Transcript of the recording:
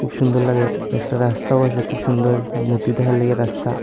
খুব সুন্দর লাগে একটা রাস্তাও আছে খুব সুন্দর মূর্তি দেখার লাইগে রাস্তা।